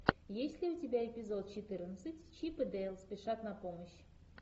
есть ли у тебя эпизод четырнадцать чип и дейл спешат на помощь